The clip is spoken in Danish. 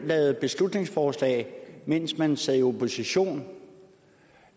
lavede et beslutningsforslag mens man sad i opposition